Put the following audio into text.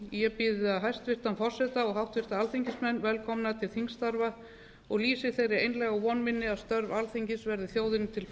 ég býð háttvirta alþingismenn velkomna til vetrarþings og óska þess að við